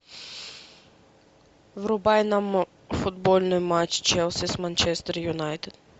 врубай нам футбольный матч челси с манчестер юнайтед